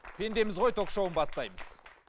пендеміз ғой ток шоуын бастаймыз